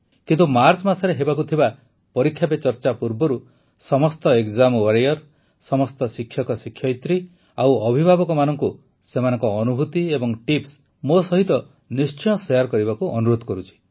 କିନ୍ତୁ ମାର୍ଚ୍ଚ ମାସରେ ହେବାକୁ ଥିବା ପରୀକ୍ଷା ପେ ଚର୍ଚ୍ଚା ପୂର୍ବରୁ ସମସ୍ତ ଏକ୍ଜାମ ୱାରିୟର ସମସ୍ତ ଶିକ୍ଷକଶିକ୍ଷୟିତ୍ରୀ ଓ ଅଭିଭାବକମାନଙ୍କୁ ସେମାନଙ୍କ ଅନୁଭୁତି ଏବଂ ଟିପ୍ସ ମୋ ସହିତ ନିଶ୍ଚୟ ଶେୟାର କରିବାକୁ ଅନୁରୋଧ କରୁଛି